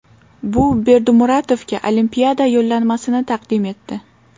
Bu Berdimuratovga Olimpiada yo‘llanmasini taqdim etdi.